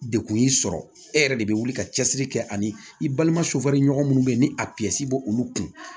Dekun y'i sɔrɔ e yɛrɛ de bɛ wuli ka cɛsiri kɛ ani i balima sofɛriɲɔgɔn minnu bɛ yen ni a b' olu kun